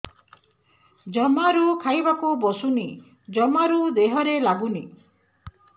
ଜମାରୁ ଖାଇବାକୁ ବସୁନି ଜମାରୁ ଦେହରେ ଲାଗୁନି